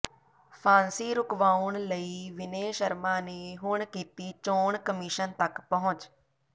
ਫਾਂਸੀ ਰੁਕਵਾਉਣ ਲਈ ਵਿਨੇ ਸ਼ਰਮਾ ਨੇ ਹੁਣ ਕੀਤੀ ਚੋਣ ਕਮਿਸ਼ਨ ਤੱਕ ਪਹੁੰਚ